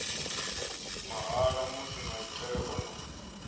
mahala musi maitele o no